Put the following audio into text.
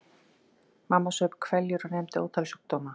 Mamma saup hveljur og nefndi ótal sjúkdóma.